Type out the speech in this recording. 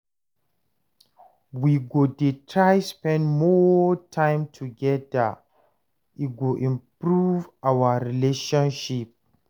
We go dey try spend more time togeda, e go improve our relationship.